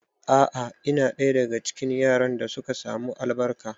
A'a, ina ɗaya daga cikin yaran da suka samu albarka